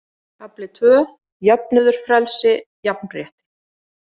Kafli II: Jöfnuður Frelsi, jafnrétti.